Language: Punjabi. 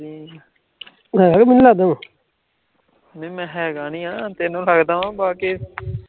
ਨੀ ਮੈਂ ਹੈਗਾ ਨੀ ਆਂ ਤੈਂਨੂੰ ਲੱਗਦਾ ਮੈਂ ਬਾਕੇ